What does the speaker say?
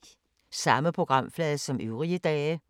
Samme programflade som øvrige dage